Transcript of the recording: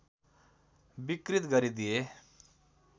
विकृत गरिदिए